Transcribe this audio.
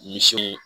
Misi